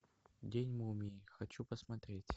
день мумии хочу посмотреть